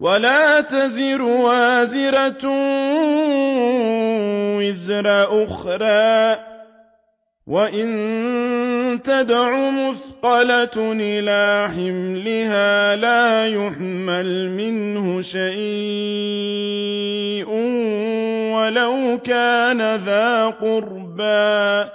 وَلَا تَزِرُ وَازِرَةٌ وِزْرَ أُخْرَىٰ ۚ وَإِن تَدْعُ مُثْقَلَةٌ إِلَىٰ حِمْلِهَا لَا يُحْمَلْ مِنْهُ شَيْءٌ وَلَوْ كَانَ ذَا قُرْبَىٰ ۗ